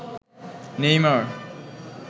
Neymar